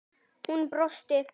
Hún brosir.